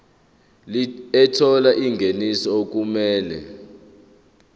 ethola ingeniso okumele